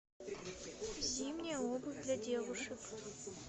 зимняя обувь для девушек